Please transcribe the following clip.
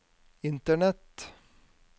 internett